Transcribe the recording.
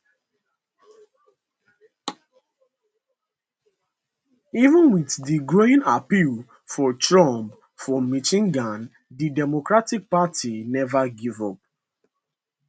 even wit di growing appeal for trump for michigan di democratic party neva give up